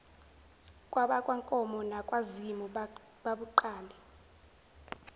kwabakankomo nakwazimu babuqale